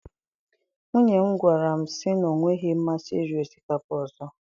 Nwunye m gwara m sị na ọ nweghị masị iri osikapa ọzọ